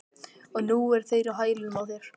Og nú eru þeir á hælunum á þér